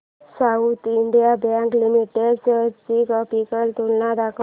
south Indian Bank Limited shares ची graphical तुलना दाखव